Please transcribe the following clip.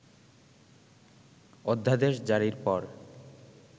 অধ্যাদেশজারির পর